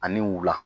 Ani wula